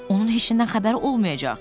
Onun heç nədən xəbəri olmayacaq.